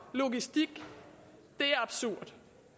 logistik det er absurd